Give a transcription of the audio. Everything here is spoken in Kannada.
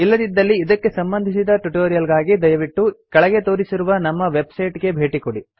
ಇಲ್ಲದಿದ್ದಲ್ಲಿ ಇದಕ್ಕೆ ಸಂಬಂಧಿಸಿದ ಟ್ಯುಟೋರಿಯಲ್ ಗಾಗಿ ದಯವಿಟ್ಟು ಕೆಳಗೆ ತೋರಿಸಿರುವ ನಮ್ಮ ವೆಬ್ಸೈಟ್ ಗೆ ಭೇಟಿಕೊಡಿ